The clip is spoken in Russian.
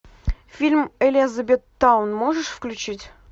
фильм элизабеттаун можешь включить